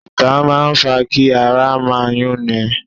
Ìta máa ń fa kí ara máa yúnni.